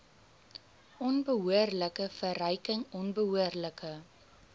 onbehoorlike verryking onbehoorlike